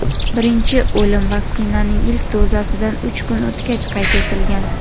birinchi o‘lim vaksinaning ilk dozasidan uch kun o‘tgach qayd etilgan.